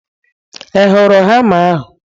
Ị hụrụ hama ahu?